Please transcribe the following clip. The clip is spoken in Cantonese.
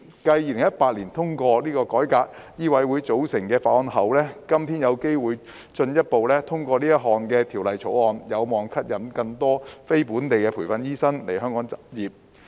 繼在2018年通過改革醫委會組成的法案後，今天有機會進一步通過《條例草案》，有望吸引更多非本地培訓醫生來港執業。